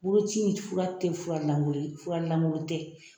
Bolo ci nin fura te fura lankolon ye ,fura lankolon tɛ .